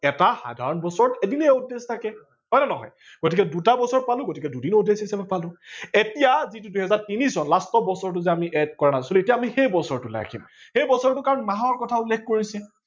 এটা সাধাৰন বছৰত এদিনেই odd days থাকে হয় নে নহয়, গতিকে দুটা বছৰত পালো গতিকে দুদিন odd days হিচাপে পালো ।এতিয়া যিটো দুহেজাৰ তিনি চন last বছৰটো যে আমি add কৰা নাছিলো এতিয়া আমি সেই বছৰটোলে আহিম সেই বছৰটোত কাৰন মাহৰ কথা উল্লেখ কৰিছে।